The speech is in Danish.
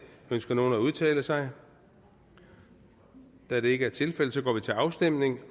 ønsker nogen at udtale sig da det ikke er tilfældet går vi til afstemning